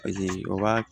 o ka